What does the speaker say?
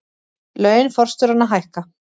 Laun forstjóranna hækka